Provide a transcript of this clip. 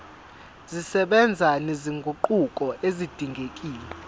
zisebenza nezinguquko ezidingekile